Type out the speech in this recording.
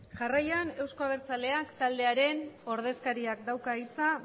jarraian euzko abertzaleak taldearen ordezkariak dauka hitza